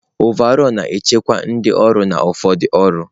Ọvaọlụ na-echekwa ndị ọrụ na ụfọdụ ọrụ.